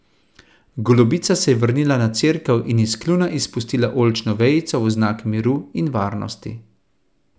Golobica se je vrnila na cerkev in iz kljuna izpustila oljčno vejico v znak miru in varnosti.